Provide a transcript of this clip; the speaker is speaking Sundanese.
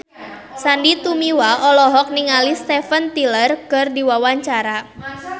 Sandy Tumiwa olohok ningali Steven Tyler keur diwawancara